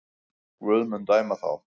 Guð mun dæma þá.